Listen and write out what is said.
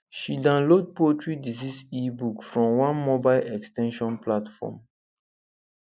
she download poultry disease ebook from one mobile ex ten sion platform